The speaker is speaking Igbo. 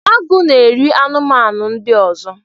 Agụ na-eri anụmanụ ndị ọzọ